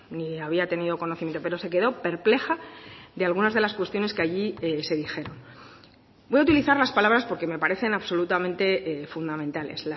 ni había tenido conocimiento pero se quedó perpleja de algunas de las cuestiones que allí se dijeron voy a utilizar las palabras porque me parecen absolutamente fundamentales